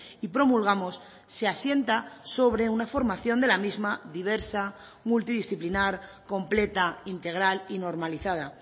y promulgamos se asienta sobre una formación de la misma diversa multidisciplinar completa integral y normalizada